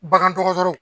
Bagandɔgɔtɔrɔw